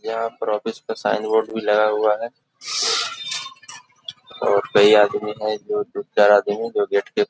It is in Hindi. यहां पर आफिस का साइन बोर्ड भि लगा हुआ है और कई आदमी है जो दो चार आदमी जो गेट के --